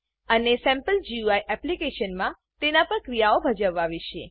અને sample GUI એપ્લીકેશનમાં તેના પર ક્રિયાઓ ભજવવા વિશે